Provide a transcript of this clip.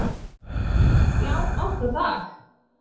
Já, oft á dag